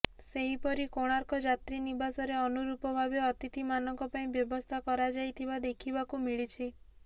ସେହିପରି କୋଣାର୍କ ଯାତ୍ରୀ ନିବାସରେ ଅନୁରୂପ ଭାବେ ଅତିଥିମାନଙ୍କ ପାଇଁ ବ୍ୟବସ୍ଥା କରାଯାଇଥିବା ଦେଖିବାକୁ ମିଳିଛି